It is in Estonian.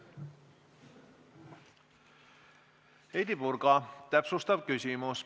Heidy Purga, täpsustav küsimus.